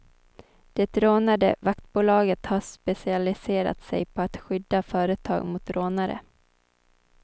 Det rånade vaktbolaget har specialiserat sig på att skydda företag mot rånare.